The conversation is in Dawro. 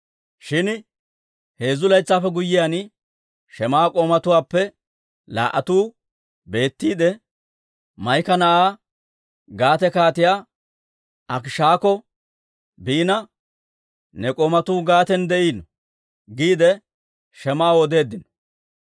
Shin heezzu laytsaappe guyyiyaan, Shim"a k'oomatuwaappe laa"atuu betiide, Maa'ika na'aa, Gaate Kaatiyaa Akiishakko biina, «Ne k'oomatuu Gaaten de'iino» giide Shim"aw odeeddino.